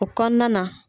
O kɔnɔna na